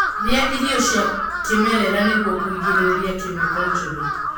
rĩa irio cia kĩmerera nĩguo kũgirĩrĩrĩa chemical njũru